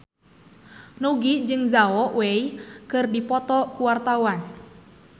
Nugie jeung Zhao Wei keur dipoto ku wartawan